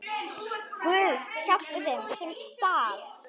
Guð, hjálpi þeim, sem stal!